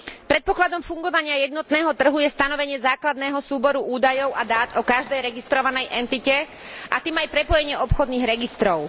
Predpokladom fungovania jednotného trhu je stanovenie základného súboru údajov a dát o každej registrovanej entite, a tým aj prepojenie obchodných registrov.